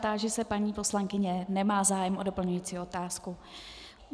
Táži se paní poslankyně, nemá zájem o doplňující otázku.